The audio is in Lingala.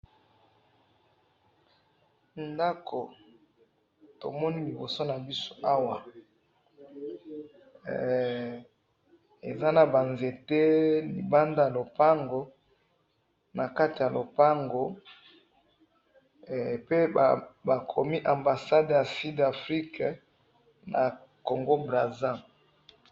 ndaku tomoni liboso nabiso awa hee eza naba nzete na libanda ya lopango nakati ya lopango pe bakomi ambassade ya sud afrique na congo - brazza